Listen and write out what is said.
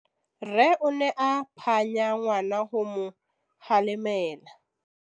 Rre o ne a phanya ngwana go mo galemela.